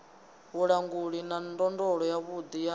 vhulanguli na ndondolo yavhuḓi ya